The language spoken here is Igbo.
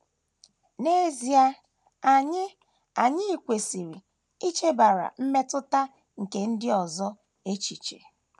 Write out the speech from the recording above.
N’EZIE, anyị anyị kwesịrị ichebara mmetụta nke ndị ọzọ echiche.